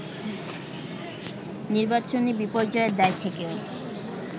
নির্বাচনী বিপর্যয়ের দায় থেকেও